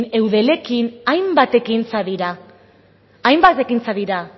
eudelekin hainbat ekintza dira